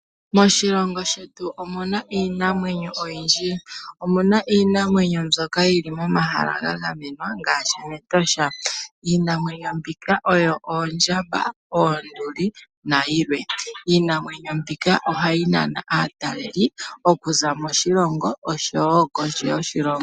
Moshilongo shetu omuna iinamwenyo oyindji. Omuna iinamwenyo mbyoka yili momahala ga gamenwa, ngaashi mEtosha. Iinamwenyo mbika oyo oondjamba, oonduli, nayilwe. Iinamwenyo mbika ohayi nana aatalelipo okuza moshilongo, oshowo kondje yoshilongo.